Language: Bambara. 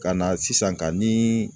Ka na sisan ka ni